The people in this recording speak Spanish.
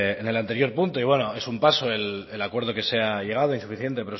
en el anterior punto y bueno es un paso el acuerdo que se ha llegado insuficiente